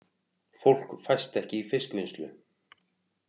Fólk fæst ekki í fiskvinnslu